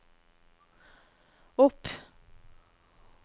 opp